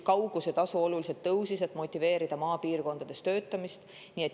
Kaugusetasu oluliselt tõusis, et motiveerida maapiirkondades töötamist.